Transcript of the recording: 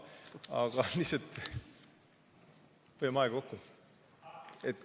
Aga lihtsalt hoiame aega kokku.